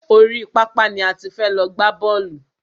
Orí pápá ni a ti fẹ́ lọ gbá bọ́ọ̀lù.